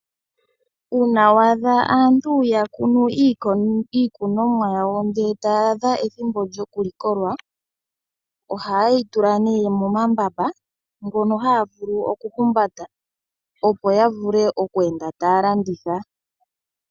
Uuna wa adha aantu ya kunu iikunomwa yawo, ngele taya adha ethimbo lyo kulikolwa , iha yeyi tula nee momambamba mono haya vulu oku humbata opo ya vule oku enda taya landitha .